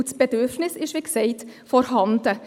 denn das Bedürfnis ist, wie gesagt, vorhanden.